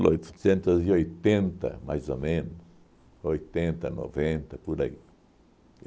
oitocentos e oitenta, mais ou menos, oitenta, noventa, por aí.